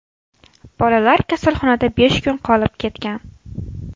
Bolalar kasalxonada besh kun qolib ketgan.